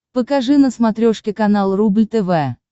покажи на смотрешке канал рубль тв